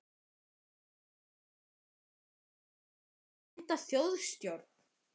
Þorbjörn Þórðarson: Þarf ekki bara að mynda þjóðstjórn?